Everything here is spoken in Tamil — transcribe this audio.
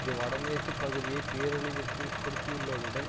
இது வட மேற்கு பகுதியை பேரழிவிற்கு உட்படுத்தியுள்ளதுடன்